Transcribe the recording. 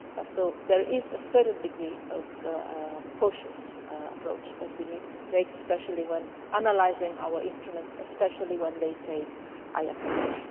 So there is to a certain degree a cautious approach that we needed to take, especially when analysing our instruments, and especially when they fail, I have to say.